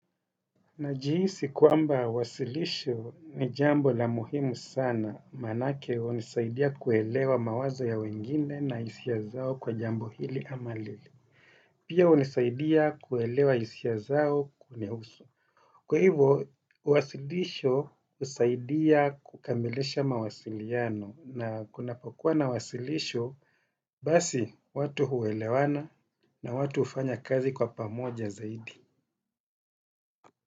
Najihisi kwamba wasilisho ni jambo la muhimu sana, manake hunisaidia kuelewa mawazo ya wengine na hisia zao kwa jambo hili ama lile. Pia hunisaidia kuelewa hisia zao kunihusu. Kwa hivyo, wasilisho husaidia kukamilisha mawasiliano na kunapokuwa na wasilisho, basi watu uelewana na watu hufanya kazi kwa pamoja zaidi.